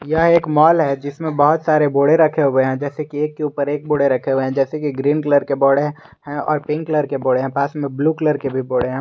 यह एक मॉल है जिसमें बहुत सारे बोड़े रखे हुए हैं जैसे कि एक के ऊपर एक बोड़े रखे हुए हैं जैसे कि ग्रीन कलर के बोड़े है और पिंक कलर के बोड़े पास में ब्लू कलर के भी बोड़े हैं।